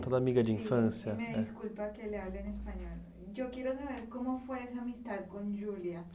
a sua amiga de infância. Eu quero saber como foi essa amizade com a Júlia.